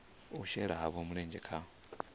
u shela havho mulenzhe kha